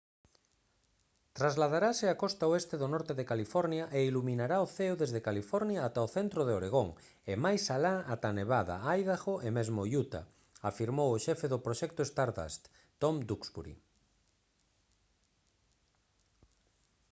«trasladarase á costa oeste do norte de california e iluminará o ceo desde california ata o centro de oregón e máis alá ata nevada idaho e mesmo utah» afirmou o xefe do proxecto stardust tom duxbury